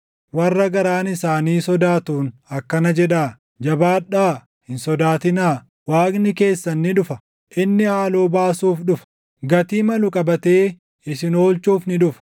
warra garaan isaanii sodaatuun akkana jedhaa: “Jabaadhaa; hin sodaatinaa; Waaqni keessan ni dhufa; inni haaloo baasuuf dhufa; gatii malu qabatee isin oolchuuf ni dhufa.”